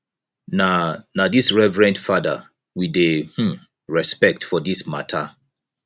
na na this reverened fada we dey um respect for this mata